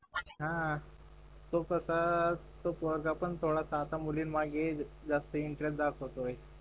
हम्म तो कस तो पोरगा पण थोडासा आता मुलींमागे जास्त इंटरेस्ट दाखवतोय